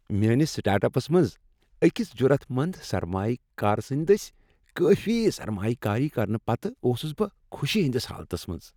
میٲنس start ups منز أکِس جُرت مند سرمایہ كار سٕندۍ دٔسۍ کٲفی سرمایہ کٲری کرنہٕ پتہٕ اوسُس بہٕ خوشی ہنٛدِس حالتس منٛز۔